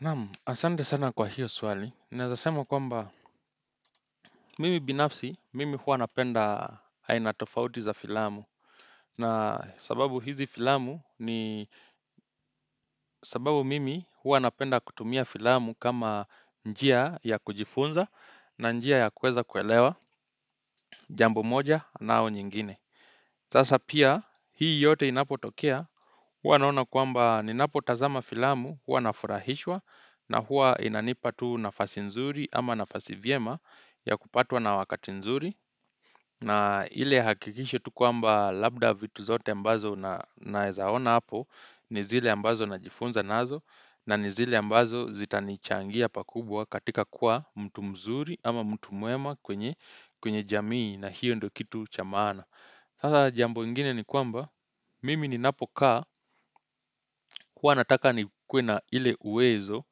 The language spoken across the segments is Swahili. Naam, asante sana kwa hiyo swali, naezasema kwamba mimi binafsi mimi hua napenda aina tofauti za filamu na sababu hizi filamu ni sababu mimi hua napenda kutumia filamu kama njia ya kujifunza na njia ya kueza kuelewa jambo moja nao nyingine Sasa pia, hii yote inapo tokea, hua naona kwamba ni napo tazama filamu, hua na furahishwa, na hua inanipatu nafasi nzuri ama nafasi vyema ya kupatwa na wakati nzuri. Na ile hakikisho tu kwamba labda vitu zote mbazo na ezaona hapo, ni zile ambazo na jifunza nazo, na ni zile mbazo zitani changia pakubwa katika kuwa mtu mzuri ama mtu mwema kwenye jamii na hiyo ndo kitu cha maana. Sasa jambo ingine ni kwamba mimi ni napokaa huwa nataka ni kuwe na ile uwezo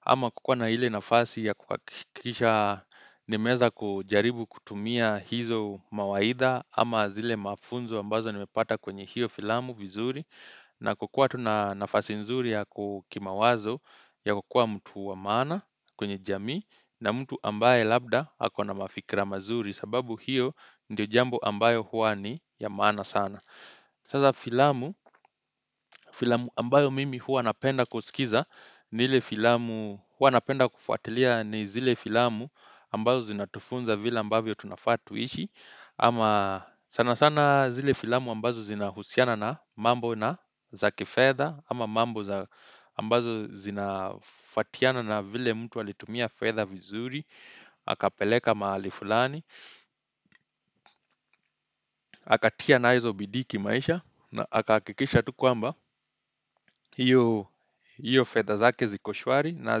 ama kukuwa na ile nafasi ya kuhakikisha nimeeza kujaribu kutumia hizo mawaidha ama zile mafunzo ambazo nimepata kwenye hiyo filamu vizuri na kukua tu na nafasi nzuri ya kukimawazo ya kukua mtu wa maana kwenye jamii na mtu ambaye labda ako na mafikra mazuri sababu hiyo ndio jambo ambayo hua ni ya maana sana. Sasa filamu, filamu ambayo mimi hua napenda kusikiza ni ile filamu hua napenda kufuatilia ni zile filamu ambazo zinatufunza vila ambayo tunafaa tuishi. Ama sana sana zile filamu ambazo zina husiana na mambo na zaki fedha Ama mambo ambazo zina fatiana na vile mtu walitumia fedha vizuri akapeleka mahali fulani aka tia na hizo bidii kimaisha na aka hakikisha tu kwamba hiyo fedha zake ziko shwari na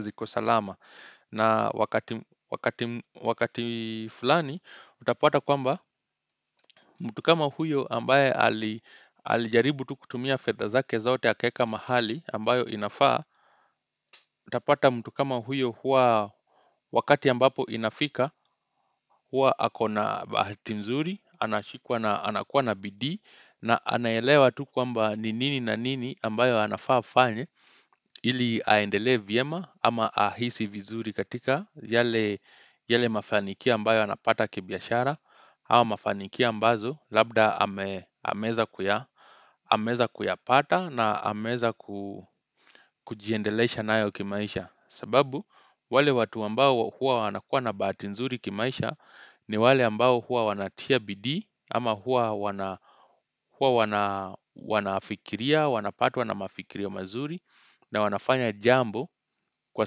ziko salama na wakati fulani utapata kwamba mtu kama huyo ambaye alijaribu tu kutumia fedha zake zote akaeka mahali ambayo inafaa, utapata mtu kama huyo huwaa wakati ambapo inafika, huwa akona bahati nzuri, anashikwa na anakuwa na bidii, na anaelewa tu kwamba ni nini na nini ambayo anafaa afanye, ili aendelee vyema ama ahisi vizuri katika yale mafanikia ambayo anapata kibiashara, ama mafanikia ambazo labda ameeza kuyapata na ameeza kujiendelesha nayo kimaisha sababu wale watu ambao huwa wanakuwa na bahati nzuri kimaisha ni wale ambao hua wanatia bidi ama hua wanafikiria, wanapatwa na mafikirio mazuri na wanafanya jambo kwa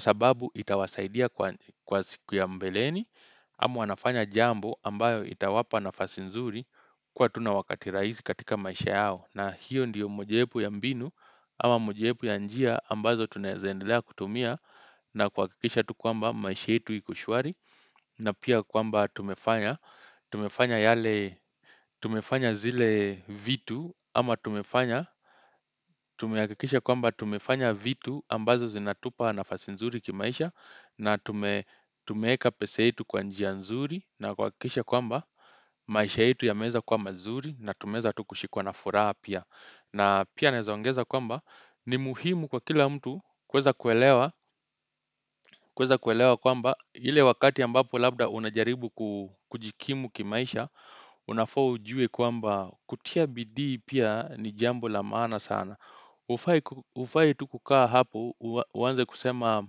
sababu itawasaidia kwa siku ya mbeleni Ama wanafanya jambo ambayo itawapa nafasi nzuri kwa tu na wakati raizi katika maisha yao na hiyo ndiyo mojiepu ya mbinu ama mojiepu ya njia ambazo tunezeendelea kutumia na kuhakikisha tu kwamba maisha yetu iko shwari na pia kwamba tumefanya tumefanya yale tumefanya zile vitu ama tumefanya Tumeha kikisha kwamba tumefanya vitu ambazo zinatupa nafasi nzuri kimaisha na tumeeka pesa yetu kwa njia nzuri na kuha kisha kwamba maisha yetu ya meeza kuwa mazuri na tumeeza tu kushikwa na furaha pia na pia naezaongeza kwamba ni muhimu kwa kila mtu kuweza kuelewa kuelewa kwamba ile wakati ambapo labda unajaribu kujikimu kimaisha Unafaa ujue kwamba kutia bidii pia ni jambo la maana sana Hufai tu kukaa hapo uwanze kusema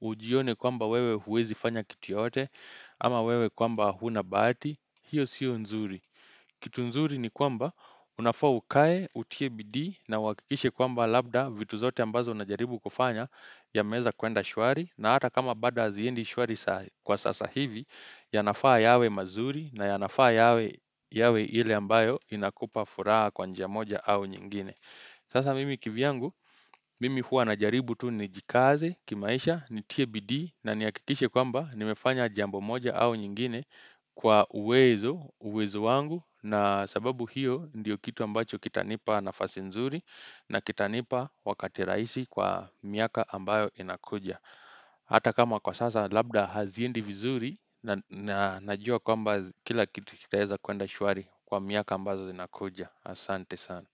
ujione kwamba wewe huwezi fanya kitu yoyote ama wewe kwamba huna bahati, hiyo sio nzuri. Kitu nzuri ni kwamba unafaa ukae, utie bidii na uhakikishe kwamba labda vitu zote ambazo unajaribu kufanya yameeza kwenda shwari na hata kama bado haziendi shwari kwa sasa hivi, ya nafaa yawe mazuri na ya nafaa yawe yawe ile ambayo inakupa furaha kwa njia moja au nyingine Sasa mimi kivyangu, mimi hua na jaribu tu ni jikaze, kimaisha, ni tie bidii, na nihakikishe kwamba nimefanya jambo moja au nyingine kwa uwezo, uwezo wangu, na sababu hiyo ndiyo kitu ambacho kita nipa nafasi nzuri, na kita nipa wakati rahisi kwa miaka ambayo inakuja. Hata kama kwa sasa, labda haziendi vizuri, na najua kwamba kila kitu kitaeza kwenda shwari kwa miaka ambazo zinakuja. Asante sana.